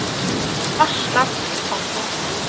Aslak Antonsen